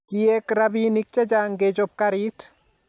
Kiek rabinik chechang kechop garit